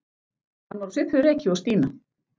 Hann var á svipuðu reki og Stína.